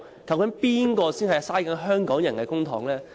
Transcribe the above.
究竟是誰在浪費香港人的公帑呢？